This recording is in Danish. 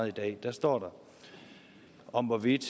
i dag står der om hvorvidt